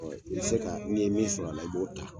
I bi se ka ni ye min sɔrɔ a la, i b'o ta.